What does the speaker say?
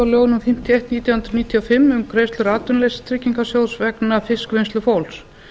eitt nítján hundruð níutíu og fimm um greiðslur atvinnuleysistryggingasjóðs vegna fiskvinnslufólks